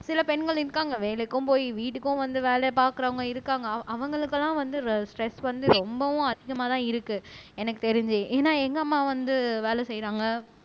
சில பெண்கள் இருக்காங்க வேலைக்கும் போயி வீட்டுக்கும் வந்து வேலையை பாக்குறவங்க இருக்காங்க அவ அவங்களுக்கெல்லாம் வந்து ஸ்ட்ரெஸ் வந்து ரொம்பவும் அதிகமாதான் இருக்கு எனக்கு தெரிஞ்சு ஏன்னா எங்க அம்மா வந்து வேலை செய்யறாங்க